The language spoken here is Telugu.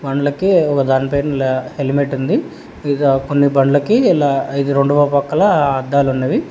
పండ్లకి ఒక దానిపై హెల్మెట్ ఉంది ఇదా కొన్ని బండ్లకి ఇలా ఇది రెండోవ పక్కల అద్దాలు ఉన్నవి.